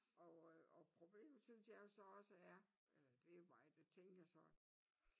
Og øh og problemet så det er jo så også er øh det mig der tænker sådan